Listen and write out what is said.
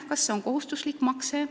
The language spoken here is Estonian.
Kas see peaks olema kohustuslik makse?